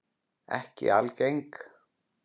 Ekki algeng.